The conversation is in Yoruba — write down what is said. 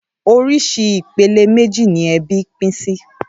Óriṣì ipélé méji ni èbí pin si